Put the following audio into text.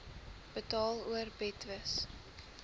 betaal or betwis